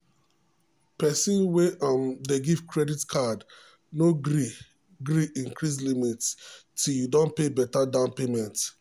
person wey um dey give credit card no gree gree increase limit till you don pay beta down payment.